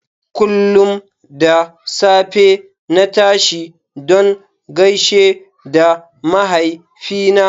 Kullum da safe na tashi don gaishe da mahaifina.